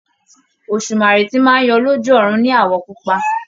Òsùmàrè tí máa ń yọ lójú ọ̀run ní àwọ̀ pupa.